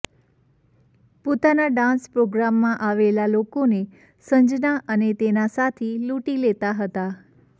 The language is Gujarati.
પોતાના ડાંસ પ્રોગ્રામમાં આવેલા લોકોને સંજના અને તેનો સાથી લૂંટી લેતા હતા